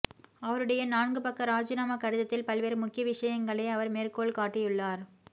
அவருடைய நான்கு பக்க ராஜினாமா கடிதத்தில் பல்வேறு முக்கிய விசயங்களை அவர் மேற்கோள் காட்டியுள்ளார்